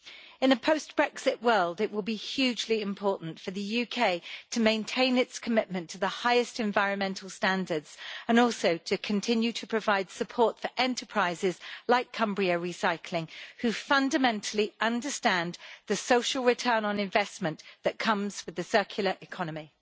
In the post-Brexit world, it will be hugely important for the UK to maintain its commitment to the highest environmental standards and also to continue to provide support for enterprises like Cumbria Recycling, who fundamentally understand the social return on investment that comes with the circular economy.